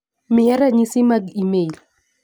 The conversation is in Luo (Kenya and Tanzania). miya ranyisi mag imel .